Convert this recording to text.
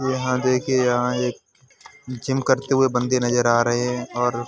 यहां देखिए यहाँ एक जिम करते हुए बंदे नजर आ रहे हैं और --